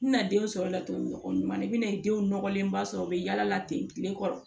N tɛna den sɔrɔ laturu nɔgɔ ɲuman na i bɛna denw nɔgɔlenba sɔrɔ u bɛ yala ten tile kɔrɔ